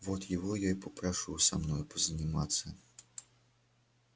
вот его я и попрошу со мной позаниматься